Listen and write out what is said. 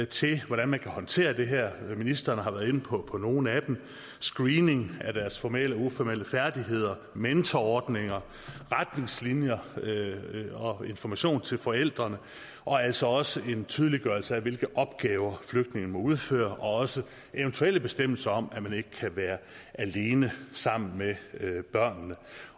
til hvordan man kan håndtere det her ministeren har været inde på nogle af dem screening af deres formelle og uformelle færdigheder mentorordninger retningslinjer og information til forældrene og altså også en tydeliggørelse af hvilke opgaver flygtninge må udføre og eventuelle bestemmelser om at man ikke kan være alene sammen med børnene